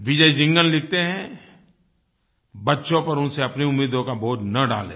विजय जिंदल लिखते हैं बच्चों पर उनसे अपनी उम्मीदों का बोझ न डालें